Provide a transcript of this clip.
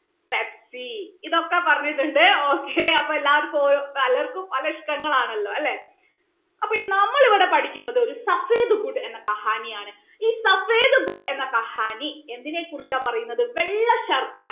pepsi ഇതൊക്കെ പറഞ്ഞിട്ടുണ്ട് okay അപ്പൊ എല്ലാവർക്കും ഓരോ പലർക്കും പല ഇഷ്ട്ടങ്ങൾ ആണല്ലോ അല്ലെ അപ്പൊ നമ്മൾ ഇവിടെ പഠിക്കുന്നത് എന്ന കഹാനി ആണ് ഈ എന്ന കഹാനി എന്തിനെ കുറിച്ചാണ് പറയുന്നത് വെള്ള ശർക്കര